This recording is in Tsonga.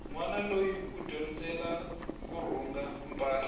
nwana loyi u dyondzela kurhunga mpahla